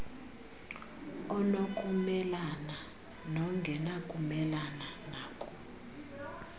onokumelana nongenakumelana nako